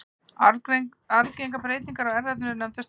arfgengar breytingar á erfðaefninu eru nefndar stökkbreytingar